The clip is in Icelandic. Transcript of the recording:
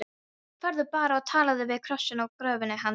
Farðu bara og talaðu við krossinn á gröfinni hans.